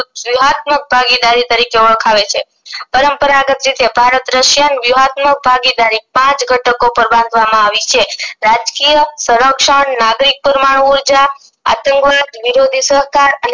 બઘીદારી તરીકે ઓળખાવે છે પરંપરાગત રીતે ભારત રશિયન વિવધમક ભાગીધારી પાંચ ઘટકો પર બાંધવામાં આવી છે રાજકરિયા સૌરક્ષણ નાગરિક પૂર્વનું ઉર્જા અતંગો વિરોધી અને